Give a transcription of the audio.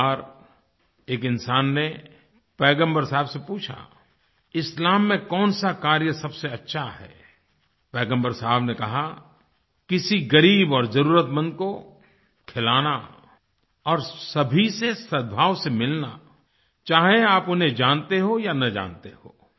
एक बार एक इंसान ने पैगम्बर साहब से पूछा इस्लाम में कौन सा कार्य सबसे अच्छा है पैगम्बर साहब ने कहा किसी गरीब और ज़रूरतमंद को खिलाना और सभी से सदभाव से मिलना चाहे आप उन्हें जानते हो या न जानते हो